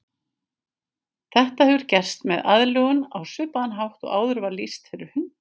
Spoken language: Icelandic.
Þetta hefur gerst með aðlögun á svipaðan hátt og áður var lýst fyrir hunda.